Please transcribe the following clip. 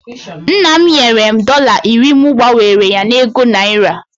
Nna m nyere m dọla iri mụ gbanwere ya na ego naira